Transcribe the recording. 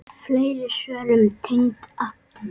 Fleiri svör um tengd efni